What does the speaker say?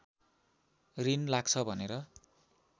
रिन लाग्छ भनेर